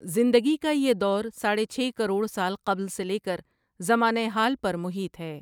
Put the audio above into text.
زندگی کا یہ دور ساڑھے چھ کروڑ سال قبل سے لیکر زمانہ حال پر محیط ہے ۔